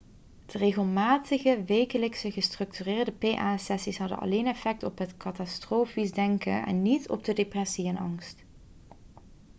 de regelmatige wekelijkse gestructureerde pa-sessies hadden alleen effect op het katastrofisch denken en niet op de depressie en angst